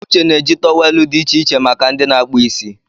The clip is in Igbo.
Uche na-eji tọwelụ dị iche iche make ndị na-akpụ isi.